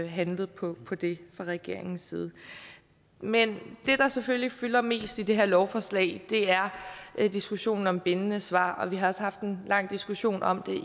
handlet på på det fra regeringens side men det der selvfølgelig fylder mest i det her lovforslag er er diskussionen om bindende svar og vi har også haft en lang diskussion om